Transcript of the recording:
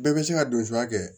Bɛɛ bɛ se ka don suya kɛ